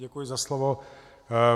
Děkuji za slovo.